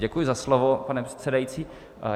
Děkuji za slovo, pane předsedající.